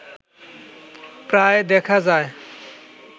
প্রায় দেখা যায়